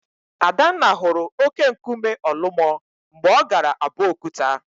Adanna hụrụ óké nkume Ọlụmọ mgbe ọ gara Abokuta.